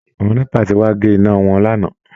Àwọn NEPA ti wá gé iná wọn lánàá